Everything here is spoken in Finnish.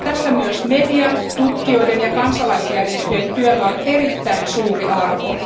Tässä myös median, tutkijoiden ja kansalaisjärjestöjen työllä on erittäin suuri arvo.